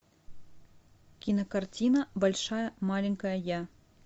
кинокартина большая маленькая я